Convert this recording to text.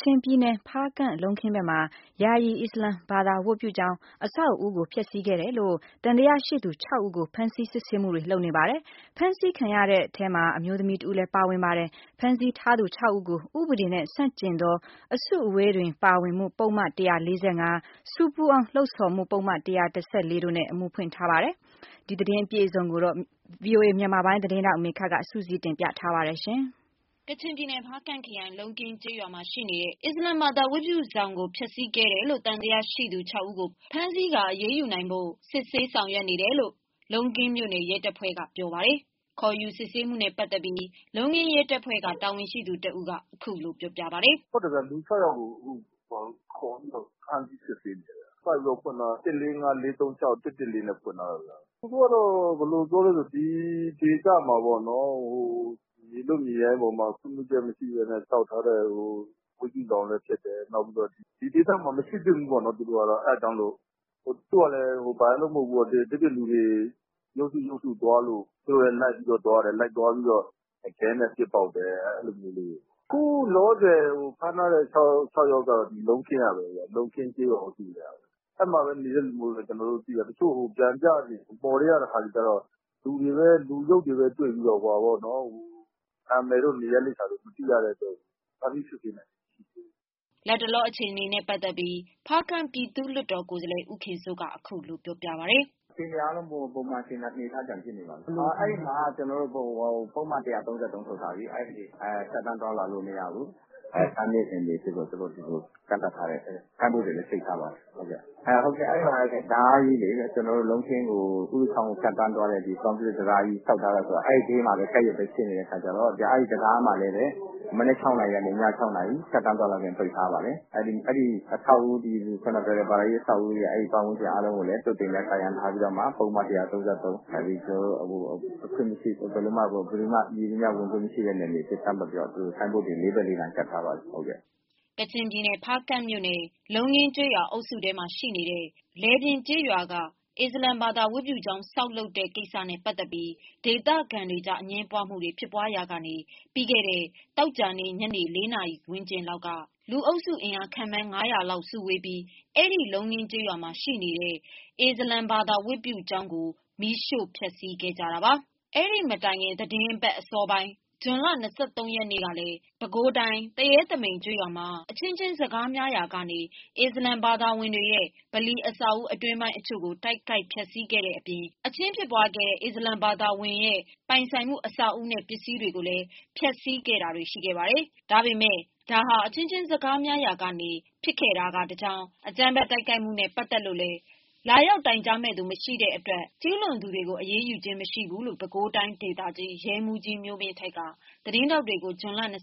ချင်ပြည်နယ် ဖားကန့် လုံးခင်းဘက်မှာ ယာယီအစ္စလမ်ဘာသာဝတ်ပြုကျောင်း အဆောက်အဦးကို ဖျက်ဆီးခဲ့တယ်လို့ သံသယရှိသူ ၆ဦး ကို ဖမ်းဆီး စစ်ဆေးမှုတွေလုပ်နေပါတယ်။ဖမ်းဆီးခံရတဲ့အထဲ အမျိုးသမီးတဦးလည်း ပါဝင်ပါတယ်။ ဖမ်းဆီးထားသူ ၆ ဦးကို ဥပဒေနှင့် ဆန့်ကျင်သော အစုအဝေးတွင် ပါဝင်မှု ပုဒ်မ ၁၄၅၊ ဆူပူအောင် လှုံ့ဆော်မှု ပုဒ် ၁၁၄ တို့ဖြင့် အမှုဖွင့် ထားပါတယ်။ ဒီသတင်းကို ဗွီအိုအေ သတင်းဌာနက မေခက စုစည်းတင်ပြထားပါတယ်။ ကချင်ပြည်နယ်၊ ဖားကန့်ခရိုင် လုံးခင်းရွာရှိ အစ္စလမ်ဘာသာဝတ်ပြုဆောင်ကို ဖျက်ဆီးခဲ့တယ်လို့ သံသယရှိသူ ၆ ဦး ကို ဖမ်းဆီးကာ အရေးယူဖို့စစ်ဆေးနေတယ်လို့ လုံးခင်းမြို့နယ် ရဲတပ်ဖွဲ့ထံကပြောပါတယ်။ ခေါ်ယူစစ်ဆေးမှုနဲ့ပတ်သတ်ပြီး လုံးခင်း ရဲတပ်ဖွဲ့ကတာဝန်ရှိ သူတဦးကအခုလိုပြောပြပါတယ်။ “ဟုတ်တယ်ခင်ဗျ။ လူ ၆ ယောက်ကို အခုဖမ်းဆီးစစ်ဆေးနေတယ်ခင်ဗျ။ ပုဒ်မ ၁၄၅၊၄၃၆၊၁၁၄ နဲ့ဖွင့်ထားတယ်။ သူတို့ကတော့ ဘယ်လိုပြောသလဲဆိုတော့ ဒီဒေသမှာပေါ့နော် မြေလွတ်၊မြေရိုင်းတွေ ပေါ်မှာ ခွင့်ပြုချက်မရှိပဲနဲ့ဆောက်ထားတဲ့ ဝတ်ပြုဆောင်လည်းဖြစ်တယ်။ နောက်ပြီးတော့ ဒီဒေသမှာမရှိသင့်ဘူးပေါ့နော် အဲဒါကြောင့်မို့လို့ သူကလည်း ဘာရယ်လို့မဟုတ်ဘူးပေါ့ ဒီပြင့်လူတွေ သွားလို့ သူတို့လည်း လိုက်သွားပြီးတော့ ခဲနဲ့ပေါက်တယ် အဲဒါမျိုးလေးတွေ။ အခုလောလောဆယ်ဖမ်းထားတဲ့ ၆ ယောက်ကတော့ လုံးခင်းကျေးရွာအုပ်စုကပဲခင်ဗျ။ အဲဒီမှာပဲနေတဲ့လူတွေမို့ကျနော်တို့သိတာ။ တချို့လူတွေကိုတော့ လူတွေပဲတွေ့ပြီးတော့ သူတို့ နံမည်တို့ နေရပ်လိပ်စာတို့ မသိတဲ့အတွက်ကြောင့်မို့ ဖမ်းဆီးစစ်ဆေးတာတွေမရှိသေးဘူး။” လက်ရှိမှာတော့ အခင်းဖြစ်ပွားရာနေရာမှာ ပုဒ်မ ၁၃၃ ထုတ်ထားဆဲပါ။ လတ်တလောအခြေအနေနဲ့ပတ်သတ်ပြီး ဖားကန့် ပြည်သူ့လွှတ်တော် ကိုယ်စားလှယ် ဦးတင်စိုးက အခုလိုပြောပြပါတယ်။ “ပုံမှန်အနေအထားပြန်ဖြစ်နေပါပြီ။ အဲဒီမှာကျနော်တို့ ပုဒ်မ ၁၃၃ ထုတ်ထားတယ်။ အဲဒီမှာ ဖြတ်သန်းသွားလာလို့မရဘူး ကန့်သတ်ထားတယ်။ ဆိုင်းဘုတ်တွေလည်းချိတ်ထားပါတယ်။ အဲဒီမှာတံတားကြီးလေ ကျနော်တို့လုံးခင်းကိုဖြတ်သွားတဲ့ ကွန်ကရစ် တံတားကြီး ရှိနေတဲ့အခါကျတော့ အဲဒီတံတားကြီးမှာလည်းပဲ မနက် ၆ နာရီကနေ၊ ည၆ နာရီ ဖြစ်သန်းသွားလာခွင့်ပိတ်ထားပါတယ်။ အဲဒီ ဘာသာရေးအဆောက်အဦးပတ်ဝန်းကျင်အားလုံးကိုလည်း သွပ်တွေနဲ့ ကာရံထားပြီးတော့မှ ပုဒ်မ ၁၃၃ မည်သူမှဝင်ခွင့်မရှိ နယ်မြေအဖြစ်ကန့်သတ်ပြီးတော့ ဆိုင်းဘုတ်တွေ လေးဘက်လေးရံ ကပ်ထားပါတယ်။” ကချင်ပြည်နယ် ဖားကန့်မြို့နယ် လုံးခင်းကျေးရွာ အုပ်စုထဲမှာရှိတဲ့ လယ်ပြင် ကျေးရွာက အစ္စလမ်ဘာသာ ဝတ်ပြုကျောင်း ဆောက် လုပ်တဲ့ ကိစ္စနဲ့ ပတ်သက်ပြီး ဒေသခံတွေကြား အငြင်းပွားမှုတွေ ဖြစ်ပွားရာ ကနေ ပြီးခဲ့တဲ့ သောကြာနေ့ ညနေ ၄ နာရီ ဝန်းကျင် လောက် မှာတော့ လူအုပ်စု အင်အား ခန့်မှန်း ၅၀၀ လောက် စုဝေးပြီး အဲ့ဒီ လုံးခင်းကျေးရွာမှာရှိတဲ့ အစ္စလမ်ဘာသာဝတ်ပြုကျောင်းကို မီးရှို့ဖျက်ဆီးခဲ့ကြတာပါ။ ဒီမတိုင်ခင် သီတင်းပတ်အစောပိုင်း ဇွန်လ ရက်နေ့ကလည်း ပဲခူးတိုင်း သူရဲသမိန်ကျေးရွာမှာ အချင်းချင်းစကားများရာကနေ အစ္စလမ်ဘာသာဝင်တွေရဲ့ ဗလီအဆောက်အဦး အတွင်းပိုင်းတချို့ကို တိုက်ခိုက် ဖျက်ဆီးခဲ့တဲ့အပြင် အချင်းဖြစ်ပွားခဲ့တဲ့ အစ္စလမ် ဘာသာဝင်ရဲ့ပိုင်ဆိုင်မှု အဆောက်အဦးနဲ့ ပစ္စည်းတွေကို ဖျက်ဆီးပစ်ခဲ့ကြတာတွေရှိခဲ့ပါတယ်။ ဒါပေမယ့်ဒါဟာ အချင်းချင်းစကားများရာ ကနေဖြစ်တာကတကြောင်း အကြမ်းဖက် တိုက်ခိုက်မှုနဲ့ ပတ်သက်လို့လည်း လာရောက်တိုင်ကြားမယ့်သူ မရှိတဲ့အတွက် ကျူးလွန်သူတွေကို အရေးယူခြင်း မရှိခဲ့ဘူးလို့ ပဲခူးတိုင်းဒေသ ရဲမှူးကြီး မျိုးမင်းထိုက်က သတင်းထောက်တွေကို ဇွန်လ ရက်နေ့က